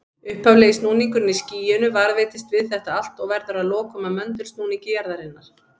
Upphaflegi snúningurinn í skýinu varðveitist við þetta allt og verður að lokum að möndulsnúningi jarðarinnar.